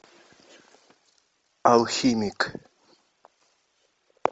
алхимик